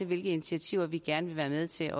hvilke initiativer vi gerne vil være med til